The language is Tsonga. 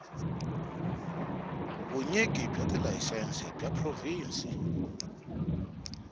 vunyiki bya tilayisense bya provhinsi